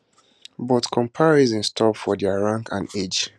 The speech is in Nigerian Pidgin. but comparisons stop for dia rank and age